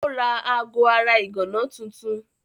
Ó ra aago ara ìgànná tuntun.